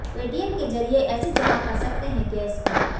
Paytm के ज़रिए ऐसे जमा कर सकते हैं गैस बिल